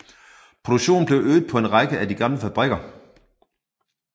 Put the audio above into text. Produktionen blev øget på en række af de gamle fabrikker